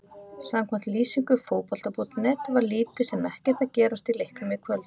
Samkvæmt lýsingu Fótbolta.net var lítið sem ekkert að gerast í leiknum í kvöld.